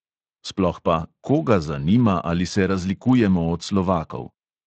Sploh pa, koga zanima, ali se razlikujemo od slovakov?